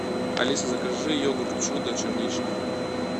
алиса закажи йогурт чудо черничный